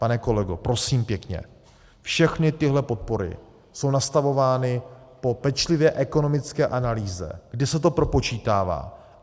Pane kolego, prosím pěkně, všechny tyhle podpory jsou nastavovány po pečlivé ekonomické analýze, kdy se to propočítává.